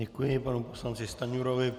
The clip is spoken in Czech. Děkuji panu poslanci Stanjurovi.